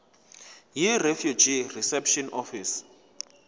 yirefugee reception office